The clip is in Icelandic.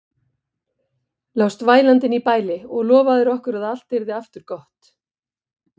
Lást vælandi inni í bæli og lofaðir okkur að allt yrði aftur gott.